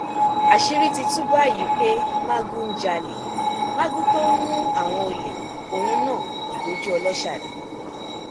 àṣírí ti tú báyìí pé magu ń jalè magu tó ń mú àwọn olè òun náà ògbójú ọlọsà ni